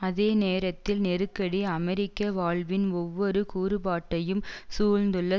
அதே நேரத்தில் நெருக்கடி அமெரிக்க வாழ்வின் ஒவ்வொரு கூறுபாட்டையும் சூழ்ந்துள்ள